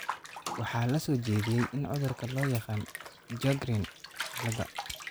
Waxaa la soo jeediyay in cudurka loo yaqaan 'Sjogren ciladha'